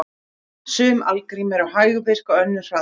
Sum algrím eru hægvirk og önnur hraðvirk.